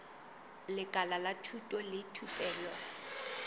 lekala la thuto le thupelo